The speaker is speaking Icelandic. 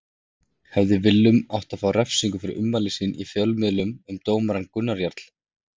Hefði Willum átt að fá refsingu fyrir ummæli sín í fjölmiðlum um dómarann Gunnar Jarl?